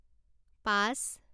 পাঁচ